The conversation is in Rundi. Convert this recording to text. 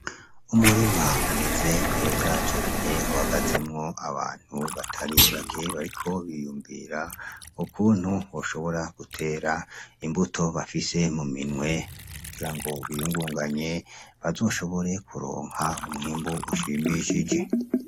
Umurima umeze neza cane uhagazemwo abantu batari bake bariko biyunvira ukuntu boshobora gutera imbuto bafise mu minwe, kugira ngo biyungunganye bazoshobore kuronka umwimbu ushimishije.